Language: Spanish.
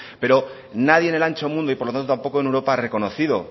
pero nadie en el ancho mundo y por lo tanto tampoco en europa ha reconocido